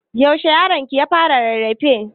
Yaushe yaronki ya fara rarrafe?